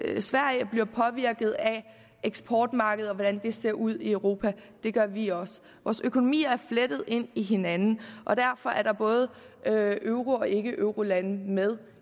sverige bliver påvirket af eksportmarkedet og hvordan det ser ud i europa det gør vi også vores økonomier er flettet ind i hinanden og derfor er både euro og ikkeeurolandene med